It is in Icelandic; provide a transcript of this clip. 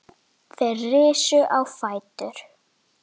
Þeir risu á fætur.